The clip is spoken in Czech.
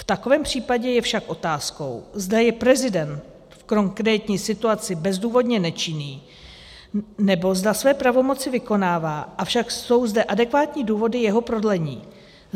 V takovém případě je však otázkou, zda je prezident v konkrétní situaci bezdůvodně nečinný, nebo zda své pravomoci vykonává, avšak jsou zde adekvátní důvody jeho prodlení.